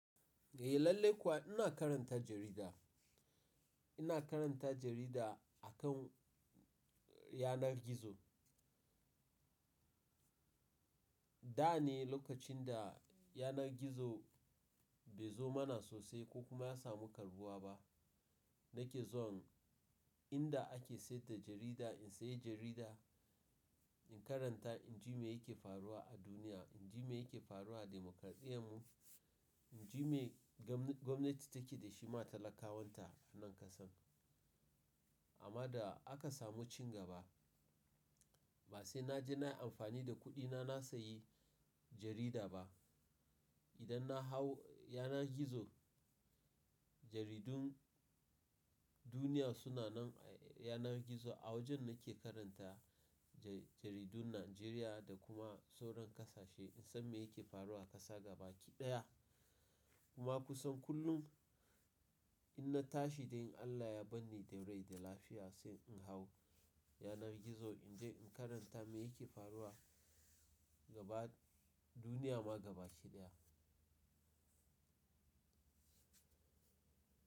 Eh lallai kuwa ina karanta jarida. Ina karanta jarida akan yanar gizo. Da ne lokacin da yanar gizo bai zo mana sosai ko kuma ya samu karɓuwa ba. Nake zuwan inda ake siyar da jarida in sayi jarida, in karanta in ji me yake faruwa a duniya, in ji me yake faruwa da dimokaradiyyarmu, in ji me gwamnati take dashi ma talakawanta a nan ƙasan. Amma da aka samu cin gaba, ba sai na je na yi amfani da kuɗina na sayi jarida ba. Idan na hau yanar gizo, jaridun duniya suna nan a yanar gizo. A wajen nake karanta jaridun Najeriya da kuma sauran kasashe in san me yake faruwa a ƙasa gaba ki ɗaya. Kuma ku san kullum in na tashi dai in Allah ya bar ni da rai da lafiya, sai in hau yanar gizo in je in karanta me yake faruwa gaba duniya ma gaba shi ɗaya.